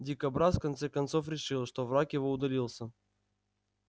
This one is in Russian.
дикобраз в конце концов решил что враг его удалился